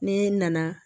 Ne nana